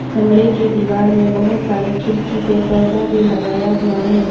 कमरे की दीवार में बहोत सारे खिरकी पे पर्दा भी लगाया हुआ है।